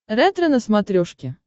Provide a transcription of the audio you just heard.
ретро на смотрешке